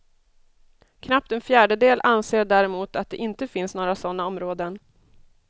Knappt en fjärdedel anser däremot att det inte finns några sådana områden.